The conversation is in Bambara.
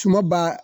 Tuma b'a